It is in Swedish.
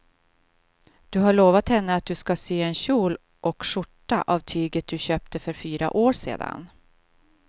Du har lovat henne att du ska sy en kjol och skjorta av tyget du köpte för fyra år sedan.